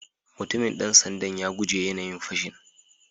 Mutumin dan sanda'n ya guje yanayin fashin.